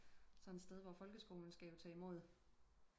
Sådan et sted hvor folkeskolen skal jo tage imod